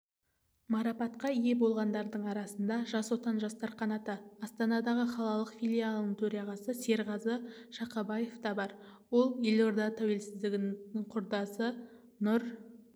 марапатқа ие болғандардың арасында жас отан жастар қанаты астана қалалық филиалының төрағасы серғазы шақабаев та бар ол елордада тәуелсіздіктің құрдасы нұр